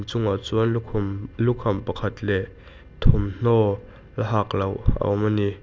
chungah chuan lukhum lukham pakhat leh thawmhnaw la hak loh a awm a ni.